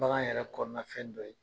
Bagan yɛrɛ kɔnɔna fɛn dɔ ye